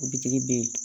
O bitigi bɛ yen